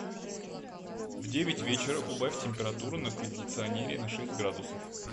в девять вечера убавь температуру на кондиционере на шесть градусов